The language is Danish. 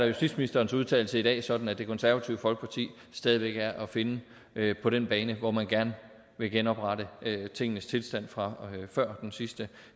justitsministerens udtalelse i dag sådan at det konservative folkeparti stadig væk er at finde på den bane hvor man gerne vil genoprette tingenes tilstand fra før den sidste